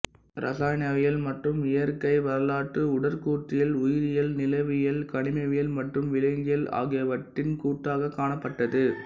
இரசாயனவியல் மற்றும் இயற்கை வரலாறு உடற்கூற்றியல் உயிரியல் நிலவியல் கனிமவியல் மற்றும் விலங்கியல் ஆகியவற்றின் கூட்டாகக் காணப்பட்டது